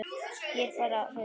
Ég er bara hraust.